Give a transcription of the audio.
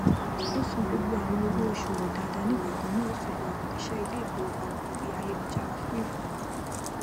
ó san gbogbo àwọn owó oṣù rẹ dáadáa nígbàkànná ó sì lo àwọn iṣẹ iléifowopamọ orí ayélujára fún irọrun